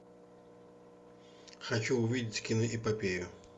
хочу увидеть киноэпопею